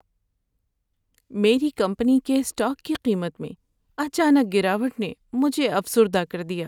میری کمپنی کے اسٹاک کی قیمت میں اچانک گراوٹ نے مجھے افسردہ کر دیا۔